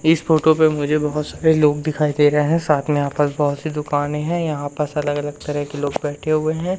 इस फोटो पे मुझे बहुत सारे लोग दिखाई दे रहे हैं साथ में यहां पर बहुत सी दुकानें है यहां पर ऐसा लग रहा तरह के लोग बैठे हुए हैं।